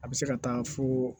A bɛ se ka taa foo